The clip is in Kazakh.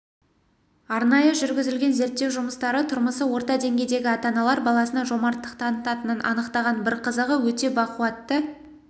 арнайы жүргізілген зерттеу жұмыстары тұрмысы орта деңгейдегі ата-аналар баласына жомарттық танытатынын анықтаған бір қызығы өте бақуатты